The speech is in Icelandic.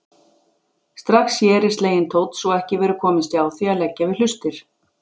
Strax hér er sleginn tónn svo ekki verður komist hjá því að leggja við hlustir.